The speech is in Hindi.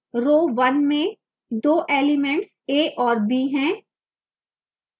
row 1 में दो elements a और b हैं